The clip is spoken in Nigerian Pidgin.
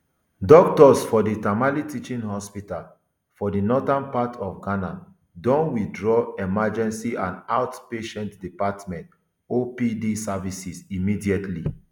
doctors for di tamale teaching hospital for di northern part of ghana don withdraw emergency and out patient department opd services indefinitely